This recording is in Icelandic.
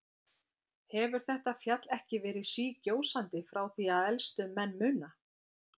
Hefur þetta fjall ekki verið sígjósandi frá því að elstu menn muna?